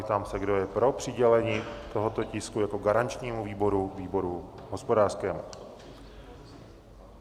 Ptám se, kdo je pro přidělení tohoto tisku jako garančnímu výboru výboru hospodářskému?